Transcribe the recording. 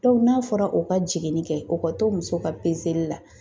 n'a fɔra o ka jiginni kɛ, o ka to muso ka pezeli la.